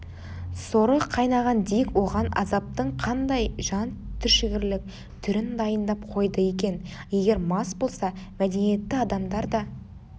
соры қайнаған дик оған азаптың қандай жан түршігерлік түрін дайындап қойды екен егер мас болса мәдениетті адамдар да